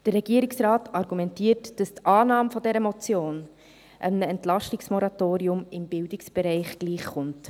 Der Regierungsrat argumentiert, dass die Annahme dieser Motion einem Entlastungsmoratorium im Bildungsbereich gleichkomme.